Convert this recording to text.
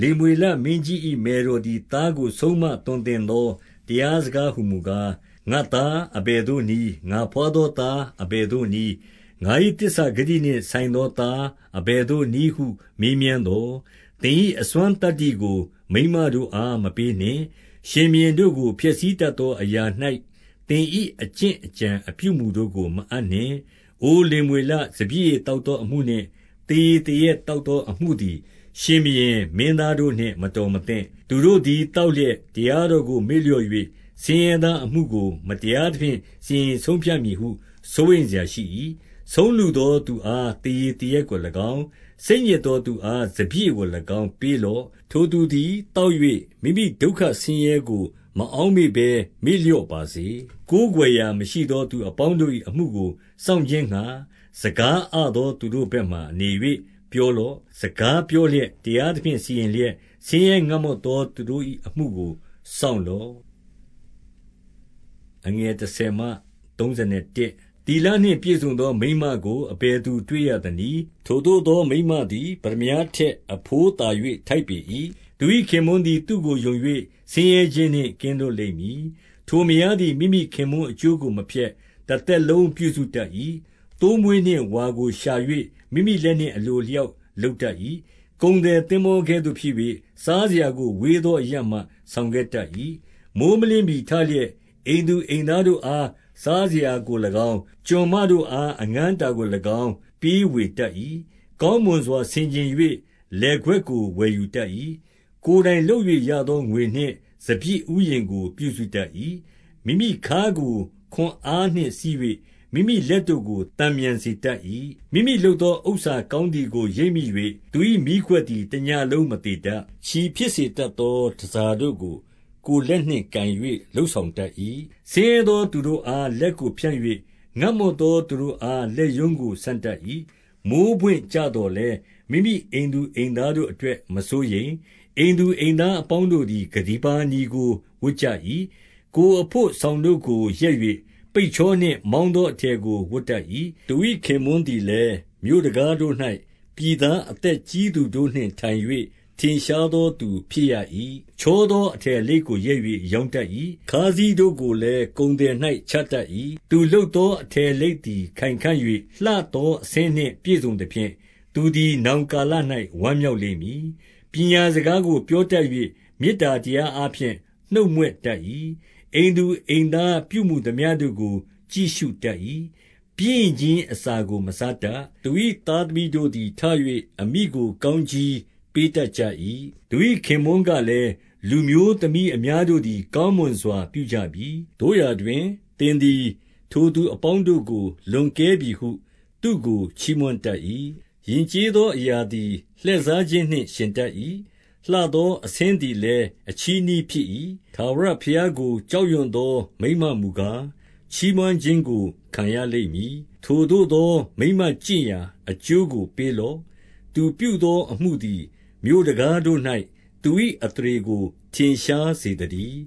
လေမွေလမင်းကြီး၏ မယ်တော်သည်သားကို ဆုံးမသွန်သင်သော တရားစကားဟူမူကာ၊ 2 ငါ့သားအဘယ်သို့နည်း။ ငါဘွားသောသား၊ အဘယ်သို့နည်း။ ငါ့၏သစ္စာဂတိနှင့်ဆိုင်သောသား အဘယ်သို့နည်းဟု မေးမြန်းသော်၊ 3 သင်၏အစွမ်းသတ္တိကို မိန်မတို့အားမပေးနှင့်။ ရှင်ဘုရင်တို့ကိုဖျက်ဆီးတတ်သာအရာ၌ သင့်၏အကျင့် အကြံ အပြုအမူတို့ကို မအပ်နှင့်။ 4 အိုလေမွေလ၊ စပျစ်ရည်သောက်သောအမှုနှင့် သေရည်သောက်သောအမှုသည် ရှင်ဘုရင်၊ မင်းသား တို့ကိုနှင့် မတော်မသင့်။ 5 သူတို့သည်သောက်လျက် တရားတော်ကို မေ့ လျော့၍၊ ဆင်းရဲသောအမှုကို မတရားသဖြင့် စီရင် ဆုံးဖြတ်မည်ဟု စိုးရိမ်စရာရှိ၏။ 6 ဆုံးလုသောလူအား သေရည်သေရက်ကို၎င်း၊ စိတ်ညစ်သောသူအား စပျစ်ရည်ကို၎င်း၊ ပေးလော့။ 7 ထိုသူတို့သည် သောက်၍ မိမိဒုက္ခဆင်းရဲကို မအောက်မေ့ဘဲ မေ့လျော့ပါစေ။ 8 ကိုးကွယ်ရာမရှိသော သူအပေါင်းတို့၏အမှုကို စောင့်ခြင်းငှါ၊ စကားအသောသူတို့ဘက်မှာ နေ၍ပြော လော့။ 9 စကားပြောလျက်၊ တရားသဖြင့်စီရင်လျက်၊ ဆင်းရဲငတ်မွတ်သောသူတို့၏ အမှုကိုစောင့်လော့။ 10 သီလနှင့်ပြည့်စုံသော မိန်မကိုအဘယ်သူတွေ့ရ သနည်း။ ထိုသို့သောမိန်းမသည် ပတ္တမြားထက် အဘိုး သာ၍ ထိုက်ပေ၏။ 11 သူ၏ခင်ပွန်းသည် သူ့ကိုယုံ၍၊ ဆင်းရဲခြင်းနှင့် ကင်းလွတ်လိမ့်မည်။ 12 ထိုမယားသည် မိမိခင်ပွန်းအကျိုးကို မဖျက်၊ တသက်လုံးပြုစုတတ်၏။ 13 သိုးမွေးနှင့်ဝါကို ရှာ၍၊ မိမိလက်နှင့် အလို အလျောက် လုပ်တတ်၏။ 14 ကုန်သည် သင်္ဘောကဲ့သို့ဖြစ်၍၊ စားစရာကို ဝေးသောအရပ်မှ ဆောင်ခဲ့တတ်၏။ 15 မိုဃ်းမလင်းမှီထလျက်၊ အိမ်သူအိမ်သားတို့အား စားစရာကို၎င်း၊ ကျွန်မတို့အား အငန်အတာကို၎င်း၊ ပေးဝေတတ်၏။ 16 ကောင်းမွန်စွာ ဆင်ခြင်၍၊ လယ်ကွက်ကိုဝယ်ယူ တတ်၏။ ကိုယ်တိုင်လုပ်၍ရသောငွေနှင့် စပျစ်ဥယျာဉ်ကို ပြုစုတတ်၏။ 17 မိမိခါးကို ခွန်အားနှင့်စည်း၍၊ မိမိလက်တို့ကို သတ်မြန်စေတတ်၏။ 18 မိမိလုပ်သောဥစ္စာကောင်းသည်ကို ရိပ်မိ၍၊ သူ၏မီး ခွက်သည် တညလုံးမသေတတ်။ 19 ချည်ဖြစ်တတ်သော တန်ဆာတို့ကို ကိုယ်လက် နှင့် ကိုင်၍ လုပ်ဆောင်တတ်၏။ 20 ဆင်းရဲသောသူတို့အား လက်ကိုဖြန့်၍၊ ငတ်မွတ် သောသူတို့အား လက်ရုံးကိုဆန့်တတ်၏။ 21 မိုဃ်းပွင့်ကျသော်လည်း၊ မိမိအိမ်သူ အိမ်သားတို့ အတွက်မစိုးရိမ်၊ အိမ်သူအိမ်သားအပေါင်းတို့သည် ကတ္တီပါနီကို ဝတ်ကြ၏။ 22 ကိုယ်အလို့စောင်တို့ကို ရက်၍၊ ပိတ်ချောနှင့် မောင်းသောအထည်ကို ဝတ်တတ်ကြ၏။ 23 သူ၏ခင်ပွန်းသည်လည်း မြို့တံခါးတို့၌ ပြည်သား အသက်ကြီးသူတို့နှင့်ထိုင်၍၊ ထင်ရှားသောသူ ဖြစ်၏။ 24 ချောသောအထည်လိပ်ကို ရက်၍ရောင်းတတ် ၏။ ခါးစည်းတို့ကိုလည်း ကုန်သည်၌ချတတ်၏။ 25 လူလုပ်သောအထည်အလိပ်သည် ခိုင်ခဲ့၍၊ လှသောအဆင်းနှင့် ပြည့်စုံသဖြင့်၊ သူသည်နောင်ကာလ၌ ဝမ်းမြောက်လိမ့်မည်။ 26 ပညာစကားကို ပြောတတ်၍၊ မေတ္တာတရား အားဖြင့် နှုတ်မြွတ်တတ်၏။ 27 အိမ်သူအိမ်သား ပြုမူသမျှတို့ကို ကြည့်ရှုတတ် ၏။ပျင်းရိခြင်းအစာကို မစားတတ်၊ 28 သူ၏သားသမီးတို့သည်ထ၍၊ အမိကို ကောင်း ကြီးပေးတတ်ကြ၏။ သူ၏ခင်ပွန်းကလည်း၊ 29 လူမျိုးသမီးအများတို့သည် ကောင်းမွန်စွာ ပြုကြ ပြီ။ သို့ရာတွင်၊ သင်သည် ထိုသူအပေါင်းတို့ကို လွန်ကဲပြီ ဟု သူ့ကို ချီးမွမ်းတတ်၏။ 30 ယဉ်ကျေးသောအရာသည် လှည့်စားခြင်းနှင့် ယှဉ်တတ်၏။ လှသောအဆင်းသည်လည်း အချည်းနှီးဖြစ် ၏။ ထာဝရဘုရားကို ကြောက်ရွံ့သော မိန်းမမူကား၊ ချီးမွမ်းခြင်းကို ခံရလိမ့်မည်။ 31 ထိုသို့သော မိန်းမကျင့်ရာ အကျိုးကိုပေးလော့။ သူပြုသောအမှုသည် မြို့တံခါးတို့၌ သူ၏အသရေကို ထင်ရှားစေသတည်း